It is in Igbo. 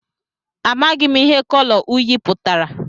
Amaghị m ihe kọlọ uyị pụtara